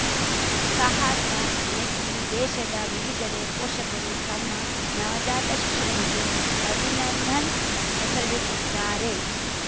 ಸಾಹಸ ಮೆಚ್ಚಿ ದೇಶದ ವಿವಿಧೆಡೆ ಪೋಷಕರು ತಮ್ಮ ನವಜಾತ ಶಿಶುಗಳಿಗೆ ಅಭಿನಂದನ್‌ ಹೆಸರಿಡುತ್ತಿದ್ದಾರೆ